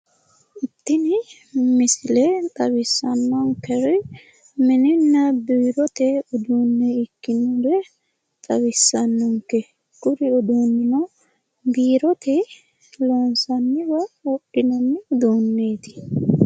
Tini misile xawissannonkeri mininna biirote uduunne ikkinore xawissannonke, kuni udduunnino biirote loonsoonnira wodhinoonni uduunneeti.